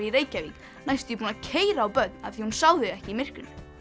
í Reykjavík næstum því búin að keyra á börn af því að hún sá þau ekki í myrkrinu